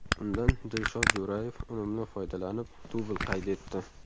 Undan Dilshod Jo‘rayev unumli foydalanib, dubl qayd etdi.